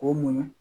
K'o muɲu